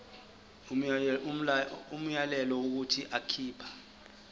umyalelo wokuthi akhipha